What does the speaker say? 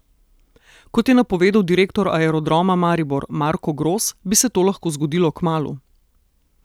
Kot je napovedal direktor Aerodroma Maribor Marko Gros, bi se to lahko zgodilo kmalu.